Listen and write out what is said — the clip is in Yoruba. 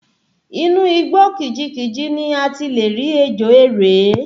Inú igbó kìjikìji ni a ti le rí ejò erè